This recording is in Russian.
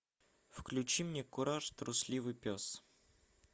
включи мне кураж трусливый пес